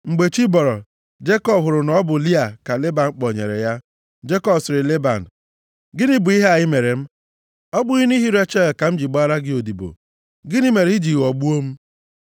Mgbe chi bọrọ, Jekọb hụrụ na ọ bụ Lịa ka Leban kpọnyere ya. Jekọb sịrị Leban, “Gịnị bụ ihe a i mere m? Ọ bụghị nʼihi Rechel ka m ji gbaara gị odibo? Gịnị mere i ji ghọgbuo m?”